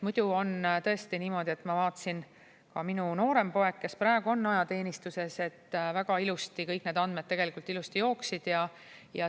Muidu on tõesti niimoodi, ma vaatasin, et ka minu noorema poja puhul, kes praegu on ajateenistuses, kõik need andmed tegelikult väga ilusti jooksid.